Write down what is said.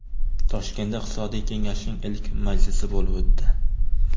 Toshkentda Iqtisodiy kengashning ilk majlisi bo‘lib o‘tdi.